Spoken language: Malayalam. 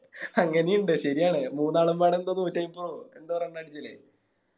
അങ്ങനെയും ഇണ്ട് ശെരിയാണ് മൂന്നാളും പാടെ എന്തോ തൊറ്റോയപ്പോ എന്തോ Run അടിച്ചില്ലേ